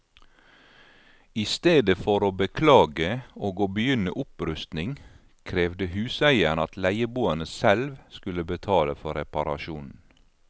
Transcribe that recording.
I stedet for å beklage og å begynne opprustning, krevde huseieren at leieboerne selv skulle betale for reparasjonen.